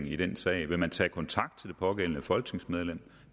i den sag vil man tage kontakt til det pågældende folketingsmedlem